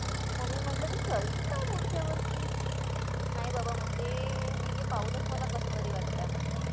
mummy म्हटलं तू चलशील का पुढच्या वर्षी नाय बाबा म्हणते मी ते पाहूनच मला कसतरी वाटत आहे म्हणते